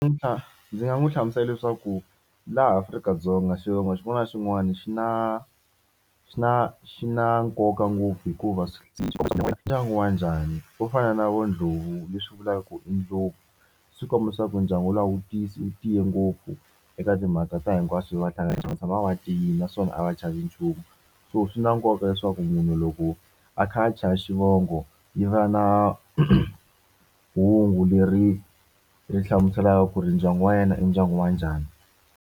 Ndzi nga n'wi hlamusela leswaku laha Afrika-Dzonga xivongo xin'wana na xin'wana xi na xi na xi na nkoka ngopfu hikuva ndyangu wa njhani wo fana na vo Ndlovu leswi vulaka ku i ndlopfu swi komba leswaku ndyangu wu langutisa wu tiye ngopfu eka timhaka ta hinkwaswo va hlangana vatshama va tiyile naswona a va chavi nchumu so swi na nkoka leswaku munhu loko a kha a cha xivongo xi va na hungu leri hlamuselaka ku ri ndyangu wa yena i ndyangu wa njhani.